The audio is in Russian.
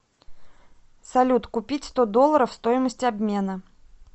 салют купить сто долларов стоимость обмена